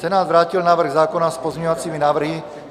Senát vrátil návrh zákona s pozměňovacími návrhy.